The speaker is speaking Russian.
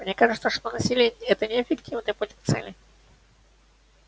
мне кажется что насилие это неэффективный путь к цели